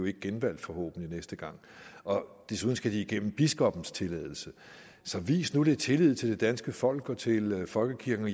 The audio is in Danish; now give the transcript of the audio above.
ikke genvalgt næste gang desuden skal de have biskoppens tilladelse så vis nu lidt tillid til det danske folk og til folkekirken